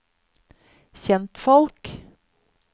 kjentfolk